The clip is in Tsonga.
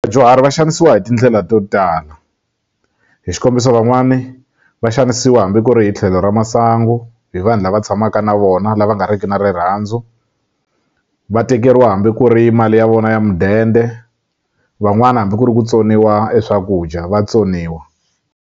Vadyuhari va xanisiwa hi tindlela to tala hi xikombiso van'wani va xanisiwa hambi ku ri hi tlhelo ra masangu hi vanhu lava tshamaka na vona lava nga riki na rirhandzu va tekeriwa hambi ku ri mali ya vona ya mudende van'wani hambi ku ri ku tsoniwa eswakudya vatsoniwa.